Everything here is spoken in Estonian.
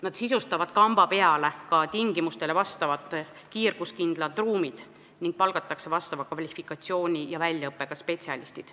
Nad sisustavad kamba peale ka tingimustele vastavad kiirguskindlad ruumid ning palkavad vastava kvalifikatsiooni ja väljaõppega spetsialistid.